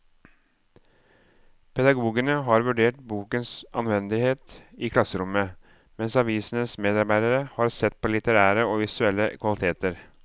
Pedagogene har vurdert bokens anvendelighet i klasserommet, mens avisens medarbeidere har sett på litterære og visuelle kvaliteter.